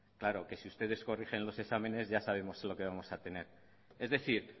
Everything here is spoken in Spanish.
claro que si ustedes corrigen los exámenes ya sabemos lo que vamos a tener es decir